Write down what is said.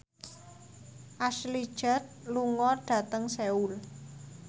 Ashley Judd lunga dhateng Seoul